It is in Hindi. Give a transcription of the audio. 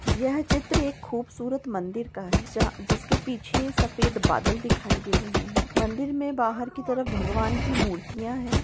यह चित्र एक खूबसूरत मंदिर का है जहाँ-अ जिसके पिछे एक सफेद बादल दिखाई दे राहे है मंदिर में बाहर कि तरफ भगवान कि मूर्तीया है।